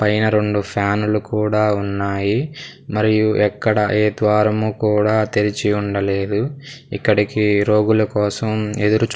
పైన రెండు ఫ్యానులు కూడా ఉన్నాయి మరియు ఎక్కడ ఏ ద్వారము కూడా తెరిచి ఉండలేదు ఇక్కడికి రోగుల కోసం ఎదురు చూ--